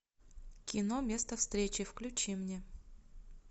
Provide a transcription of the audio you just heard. кино место встречи включи мне